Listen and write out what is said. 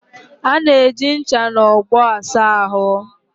A na-eji ncha na ogbo asa ahụ.